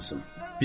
Amma olsun.